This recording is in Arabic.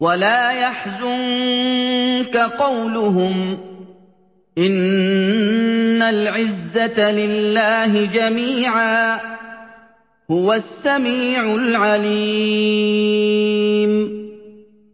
وَلَا يَحْزُنكَ قَوْلُهُمْ ۘ إِنَّ الْعِزَّةَ لِلَّهِ جَمِيعًا ۚ هُوَ السَّمِيعُ الْعَلِيمُ